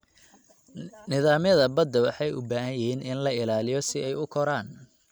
Nidaamyada badda waxay u baahan yihiin in la ilaaliyo si ay u koraan.